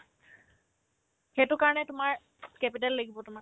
সেইটো কাৰণে তোমাৰ capital লাগিব তোমাক